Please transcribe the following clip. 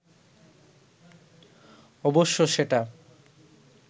অবশ্য সেটা